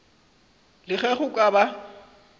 le ge go ka ba